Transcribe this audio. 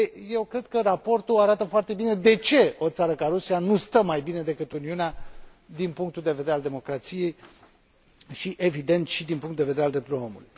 Eu cred că raportul arată foarte bine de ce o țară ca Rusia nu stă mai bine decât Uniunea din punctul de vedere al democrației și, evident, din punctul de vedere al drepturilor omului.